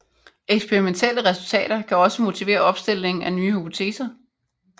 Eksperimentelle resultater kan også motivere opstillingen af nye hypoteser